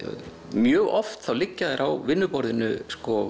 mjög oft þá liggja þær á vinnuborðinu